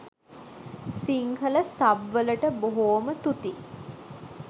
Sinhala sub වලට බොහෝම තුති!